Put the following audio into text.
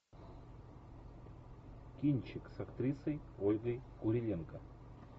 кинчик с актрисой ольгой куриленко